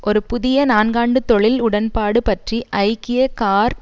ஒரு புதிய நான்காண்டு தொழில் உடன்பாடு பற்றி ஐக்கிய கார்